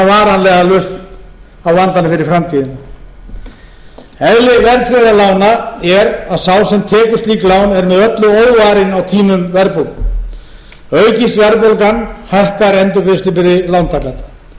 lausn á vandanum fyrir framtíðina eðli verðtryggðra lána er að sá sem tekur slík lán er með öllu óvarinn á tímum verðbólgu aukist verðbólgan hækkar endurgreiðslubyrði lántaka samkvæmt lögum